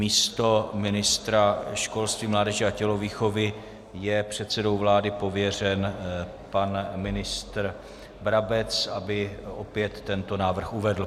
Místo ministra školství, mládeže a tělovýchovy je předsedou vlády pověřen pan ministr Brabec, aby opět tento návrh uvedl.